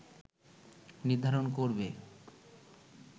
নির্ধারণ করবে